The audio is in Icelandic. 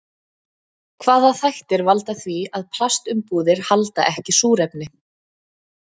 Hvaða þættir valda því að plastumbúðir halda ekki súrefni?